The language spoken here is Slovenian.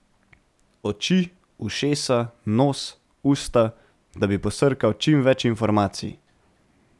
Oči, ušesa, nos, usta, da bi posrkal čim več informacij.